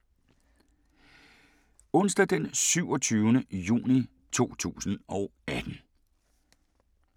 Onsdag d. 27. juni 2018